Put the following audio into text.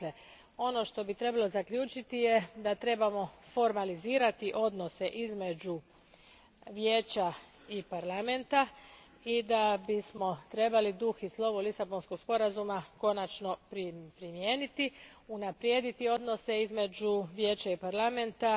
Dakle, ono što bi trebalo zaključiti je da trebamo formalizirati odnose između Vijeća i Parlamenta i da bismo trebali duh i slovo Lisabonskog sporazuma konačno primijeniti, unaprijediti odnose između Vijeća i Parlamenta,